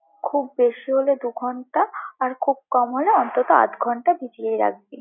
খুব বেশি হলে দু-ঘন্টা, আর খুব কম হলে অন্তত আধ-ঘন্টা ভিজিয়েই রাখবি।